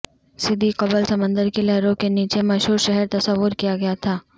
صدی قبل سمندر کی لہروں کے نیچے مشہور شہر تصور کیا گیا تھا